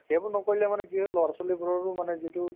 সেইবোৰ নকৰিলে মানে কি হয় লৰা-ছোৱালীবোৰৰো মানে যিটো